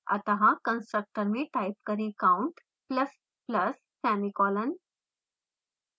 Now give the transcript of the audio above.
अत: constructor में type करें: count ++ semicolon